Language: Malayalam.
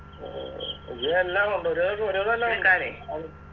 ഉം ഇത് എല്ലാം കൊണ്ടോരും ഏകദേശം ഒരിവിതെല്ലാം